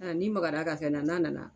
A n'i magara a ka fɛn na na nana.